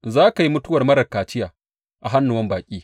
Za ka yi mutuwar marar kaciya a hannuwan baƙi.